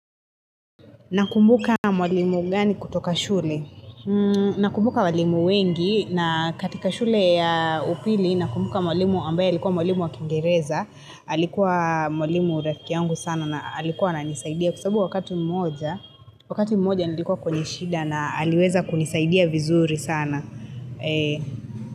Nakumbuka mwalimu gani kutoka shule? Mmmh Nakumbuka walimu wengi, na katika shule ya upili, nakumbuka mwalimu ambaye alikuwa mwalimu wa kiingereza, Alikuwa mwalimu rafiki yangu sana na alikuwa ananisaidia kwa sababu wakati mmoja Wakati mmoja nilikuwa kwenye shida na aliweza kunisaidia vizuri sana.